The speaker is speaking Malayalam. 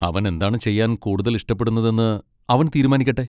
അവൻ എന്താണ് ചെയ്യാൻ കൂടുതൽ ഇഷ്ടപ്പെടുന്നതെന്ന് അവൻ തീരുമാനിക്കട്ടെ.